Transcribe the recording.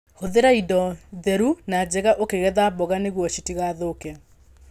Hũthĩra indo theru na njega ũkĩgetha mboga nĩguo citigathũke.